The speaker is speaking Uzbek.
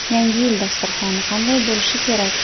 Yangi yil dasturxoni qanday bo‘lishi kerak?.